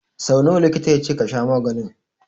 So nawa likita ya ce ka sha maganin?